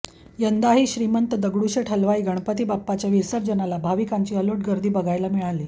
यंदा ही श्रीमंत दगडूशेठ हलवाईच्या गणपती बाप्पाच्या विसर्जनाला भाविकांची अलोट गर्दी बघायला मिळाली